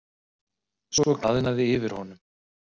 Svo glaðnaði yfir honum.